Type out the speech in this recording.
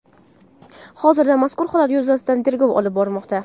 Hozirda mazkur holat yuzasidan tergov olib borilmoqda.